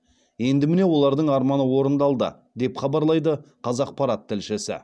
енді міне олардың арманы орындалды деп хабарлайды қазақпарат тілшісі